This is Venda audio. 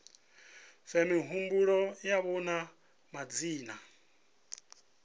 fhe mihumbulo yavho na madzina